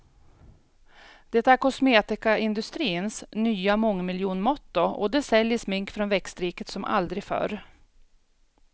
Det är kosmetikaindustrins nya mångmiljonmotto och det säljer smink från växtriket som aldrig förr.